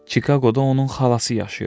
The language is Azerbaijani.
Çikaqoda onun xalası yaşayırdı.